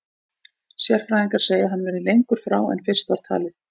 Sérfræðingar segja að hann verði lengur frá en fyrst var talið.